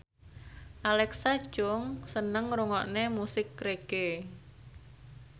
Alexa Chung seneng ngrungokne musik reggae